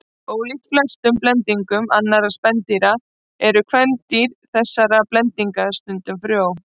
Ólíkt flestum blendingum annarra dýrategunda eru kvendýr þessara blendinga stundum frjó.